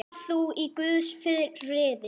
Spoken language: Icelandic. Far þú í Guðs friði.